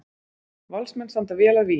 Valsmenn standa vel að vígi